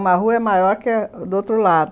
Uma rua é maior que a do outro lado.